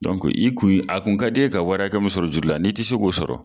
i kun ye a kun ka di ye ka wari hakɛ min sɔrɔ juru la, n'i ti se k'o sɔrɔ